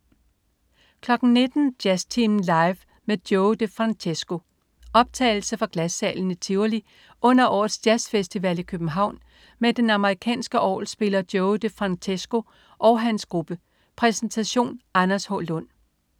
19.00 Jazztimen Live med Joey De Francesco. Optagelse fra Glassalen i Tivoli under årets jazzfestival i København med den amerikanske orgelspiller Joey de Francesco og hans gruppe. Præsentation. Anders H. Lund